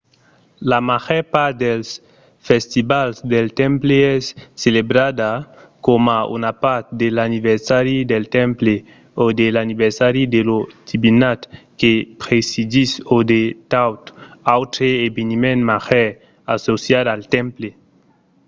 la màger part dels festivals del temple es celebrada coma una part de l'anniversari del temple o de l'anniversari de la divinitat que presidís o de tot autre eveniment màger associat al temple